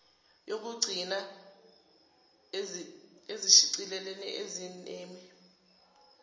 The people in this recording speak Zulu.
yokuqgcinaa izishicilelo ezinemi